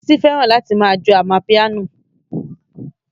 Bísí fẹ́ràn láti ma jó amapiano